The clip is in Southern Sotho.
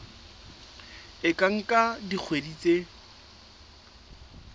e ka nka dikgwedi tse